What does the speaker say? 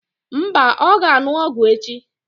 Mba, ọ ga-aṅụ ọgwụ echi.